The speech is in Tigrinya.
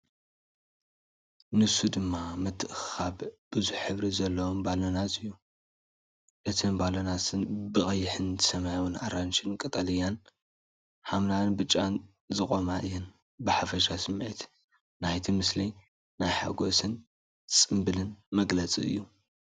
ንሱ ድማ ምትእኽኻብ ብዙሕ ሕብሪ ዘለዎም ባሎናት እዩ። እተን ባሎናት ብቐይሕ ሰማያዊን ኣራንሺን ቀጠልያን ሐምላይን ብጫን ዝቖማ እየን። ብሓፈሻ ስሚዒት ናይቲ ምስሊ ናይ ሓጎስን ጽምብልን መግለፂ እዩ።